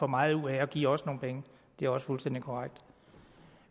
meget ud af at give os nogle penge det er også fuldstændig korrekt